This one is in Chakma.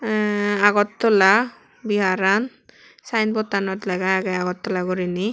aahn agartala vihar an sayenbot tanot lega agey agartala guriney.